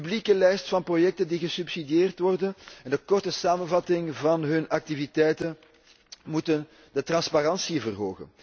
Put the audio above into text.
De publieke lijst van projecten die gesubsidieerd worden en de korte samenvatting van hun activiteiten moeten de transparantie vergroten.